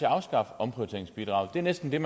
afskaffe omprioriteringsbidraget det er næsten det